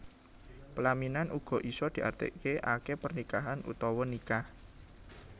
Pelaminan uga isa diarti ake pernikahan utawa nikah